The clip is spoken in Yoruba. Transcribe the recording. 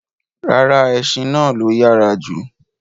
Ràrà, ẹṣin náà ló yára jù